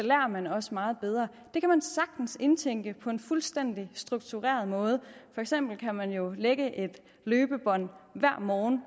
man også meget bedre det kan man sagtens indtænke på en fuldstændig struktureret måde for eksempel kan man jo lægge et løbebånd hver morgen